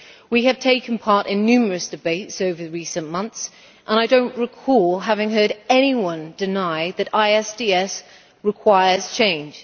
We have taken part in numerous debates over recent months, and I do not recall having heard anyone deny that ISDS requires change.